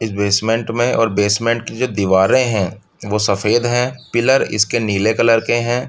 इस बेंसमेंट में और बेंसमेंट की जो दीवारो है वो सफेद है पिलर इसके नीले कलर के है।